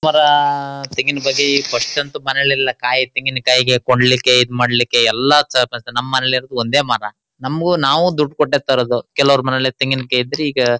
ಸ್ವರಾಆಆ ತೆಂಗೀನಬಗ್ಗೆ ಫಸ್ಟ್ ಅಂತೂ ಮನೆಲೆಲ್ಲಾ ಕಾಯೀ ತೆಂಗೀನಕಾಯೀ ಕೊಂಡಲಿಕೆ ಇದ್ಮಾಡಲಿಕೆ ಎಲ್ಲಾ ಸಲ್ಪಪಸ್ ನಮ್ಮಲ್ಲೀ ಇರೋದು ಒಂದೆ ಮರ ನಮಗು ನಾವು ದುಡ್ದು ಕೊಟ್ಟು ತರೋದು ಕೆಲವರ ಮನೆಯಲ್ಲಿ ತೆಂಗೀನಕಾಯೀ ಇದ್ರೆ ಈಗ--